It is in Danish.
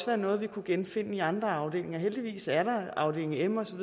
være noget vi kunne genfinde i andre afdelinger heldigvis er der afdeling m og så